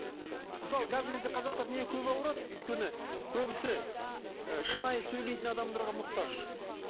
мысалы қазіргі кезде қазақтар неге көп ауырады өйткені көбісі ы шынайы сөйлейтін адамдарға мұқтаж